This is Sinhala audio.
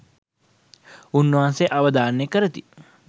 උන්වහන්සේ අවධාරණය කරති